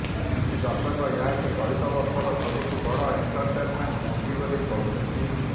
କିଛି ଦର୍ଶକ ଏହାକୁ ଚଳିତ ବର୍ଷର ସବୁଠୁ ବଡ଼ ଏଣ୍ଟରଟେନମେଣ୍ଟ ମୁଭି ବୋଲି କହୁଛନ୍ତି